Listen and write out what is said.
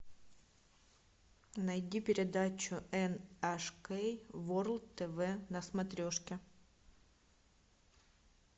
найди передачу эн аш кей ворлд тв на смотрешке